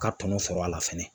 Ka tɔnɔ sɔrɔ a la fɛnɛ